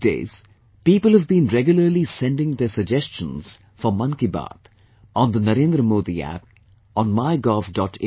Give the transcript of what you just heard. These days, people have been regularly sending their suggestions for 'Mann Ki Baat', on the NarendraModiApp, on MyGov